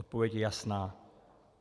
Odpověď je jasná.